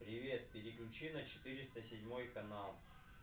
привет переключи на четыреста седьмой канал